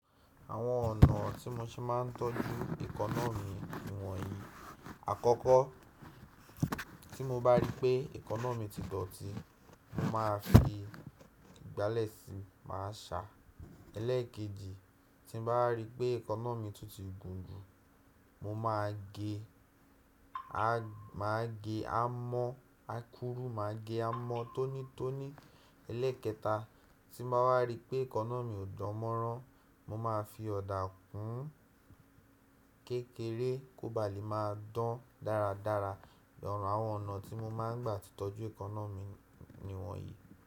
Àwọn ọ̀nà tí mo ṣe máa ń tọ́jú ikọn ni wọ̀nyí. Àkọ́kọ́, tí mo bá rí pé èkanna mi ti dọ̀tí, mo máa fi ìgbálẹ̀ sí i, màá ṣà. Ẹlẹ́ẹ̀kejì, tí mo bá rí pé èkanna mi tun ti gùn jù, mo máa ge e, màá gé amọ́ akuru, màá gé amọ́ tónítóní. Elékẹta, tí mo bá wa rí pé èkanna mi ò dánmọ́rán, mo máa fi ọ̀dà kùn ún kékeré kó ba lè máa dán dáradára. Àwọn ọ̀nà tí mo máa ń gbà fi tọ́jú èkanna mi ni wọ̀nyí.